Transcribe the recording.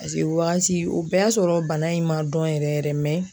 o wagati o bɛɛ y'a sɔrɔ bana in ma dɔn yɛrɛ yɛrɛ